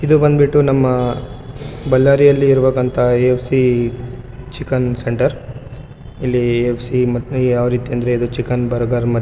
ಇದು ಬಂದ್ಬಿಟ್ಟು ನಮ್ಮ ಬಳ್ಳಾರಿ ಅಲ್ಲಿರುವಂತಹ್‌ ಎ.ಎಫ್.ಸಿ ಚಿಕನ್ ಸೆಂಟರ್ ಇಲ್ಲಿ ಎ.ಎಫ್.ಸಿ ಮ ಯಾವ ರಿತಿ ಅಂದ್ರೆ ಇದ ಚಿಕನ್‌ ಬರ್ಗರ --